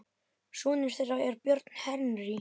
Sonur þeirra er Björn Henry.